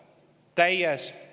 Kõik!